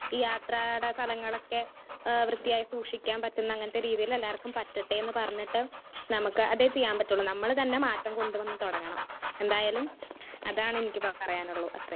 Speaker 1 ഈ യാത്രയുടെ സ്ഥലങ്ങളൊക്കെ ഏഹ് വൃത്തിയായി സൂക്ഷിക്കാൻ പറ്റുന്ന അങ്ങനത്തെ രീതിയിൽ എല്ലാവർക്കും പറ്റട്ടെ എന്ന് പറഞ്ഞിട്ട് നമുക്കതേ ചെയ്യാൻ പറ്റൊള്ളൂ. നമ്മള് തന്നെ മാറ്റം കൊണ്ടു വന്ന് തുടങ്ങണം എന്തായാലും അതാണ് എനിക്കിപ്പോ പറയാനൊള്ളൂ. അത്രേം.